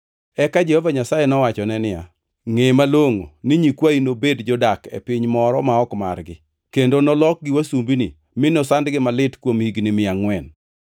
Eka Jehova Nyasaye nowachone niya, “Ngʼe malongʼo ni nyikwayi nobed jodak e piny moro ma ok margi, kendo nolokgi wasumbini mi nosandgi malit kuom higni mia angʼwen.